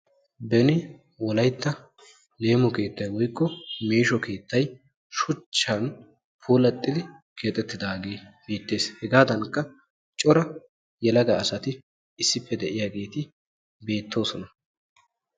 beni wolayitta leemo keettay woyikko meesho keettay shuchchan puulattidi keexettidaage beettes. hegaadankka cora yelaga asati issippe de'iyageeti beettoosona.